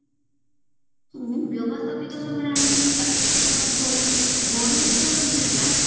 ବ୍ୟବସ୍ତାପିକା ସଭାରେ ଆଇନ ଟି ପ୍ରସ୍ତୁତ ହୁଏ ଗଣ ଉଦ୍ଯୋଗ ବି ହେଲା